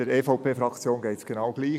Der EVPFraktion geht es genau gleich.